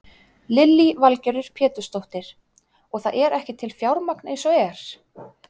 Lillý Valgerður Pétursdóttir: Og það er ekki til fjármagn eins og er?